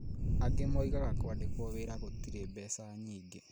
Angĩ moigaga kwandĩkwo wĩra gũtirĩ mbeca nyingĩ